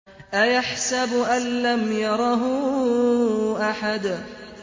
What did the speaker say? أَيَحْسَبُ أَن لَّمْ يَرَهُ أَحَدٌ